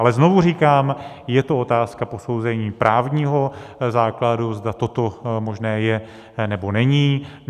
Ale znovu říkám, je to otázka posouzení právního základu, zda toto možné je, nebo není.